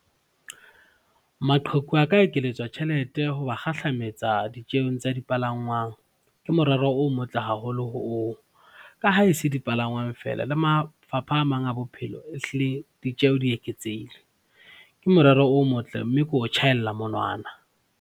Maqheku a ka ekelletswa tjhelete hoba kgahlametsa ditjeong tsa dipalangwang, ke morero o motle haholo oo ka ha e se dipalangwang feela le mafapha a mang a bophelo ehlile ditjeho di eketsehile. Ke morero o motle, mme ke o tjhaela monwana.